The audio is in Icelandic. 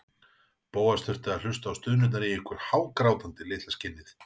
Bóas þurfti að hlusta á stunurnar í ykkur, hágrátandi, litla skinnið!